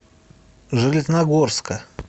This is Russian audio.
железногорска